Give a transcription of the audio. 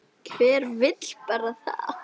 Hver vill bara það?